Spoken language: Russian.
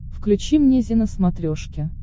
включи мне зи на смотрешке